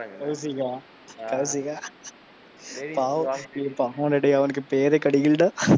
கௌசிக்கா ஆஹ் கௌசிக்கா பாவம் ஏய் பாவம் டா டேய் அவனுக்கு பேரே கிடைக்கலைடா,